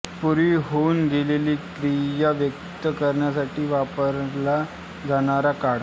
पूर्वी होऊन गेलेली क्रिया व्यक्त करण्यासाठी वापरला जाणारा काळ